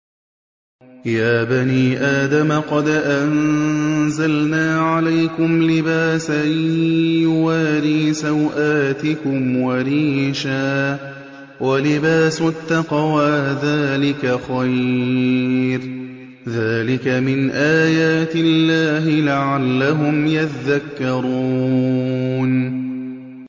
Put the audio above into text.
يَا بَنِي آدَمَ قَدْ أَنزَلْنَا عَلَيْكُمْ لِبَاسًا يُوَارِي سَوْآتِكُمْ وَرِيشًا ۖ وَلِبَاسُ التَّقْوَىٰ ذَٰلِكَ خَيْرٌ ۚ ذَٰلِكَ مِنْ آيَاتِ اللَّهِ لَعَلَّهُمْ يَذَّكَّرُونَ